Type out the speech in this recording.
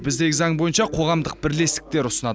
біздегі заң бойынша қоғамдық бірлестіктер ұсынады